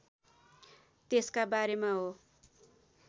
त्यसका बारेमा हो